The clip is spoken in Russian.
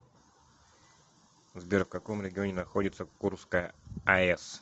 сбер в каком регионе находится курская аэс